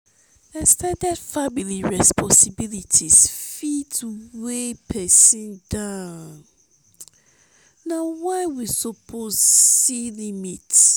ex ten ded family responsibilities fit weigh pesin down. na why we suppose set limits.